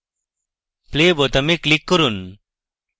play বোতামে click করুন